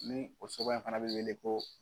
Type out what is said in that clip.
Ni o soba in fana bɛ wele ko